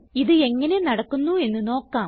ഇത് എങ്ങനെ നടക്കുന്നു എന്ന് നോക്കാം